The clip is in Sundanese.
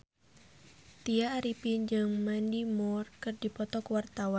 Tya Arifin jeung Mandy Moore keur dipoto ku wartawan